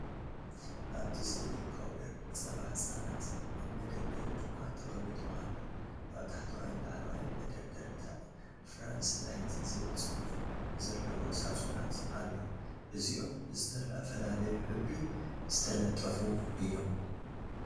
ኣብቲ ስእሊ ፓውደር ጸባ ህጻናት ኣብ መደርደሪ ድኳን ተቐሚጡ ኣሎ። ኣብ ታሕተዋይን ላዕለዋይን መደርደሪታት “ፍራንስ ላይት” ዝብል ጽሑፍ ዘለዎ ሳጹናት ኣሎ። እዚኦም ብዝተፈላለየ ሕብሪ ዝተለጠፉ እዮም።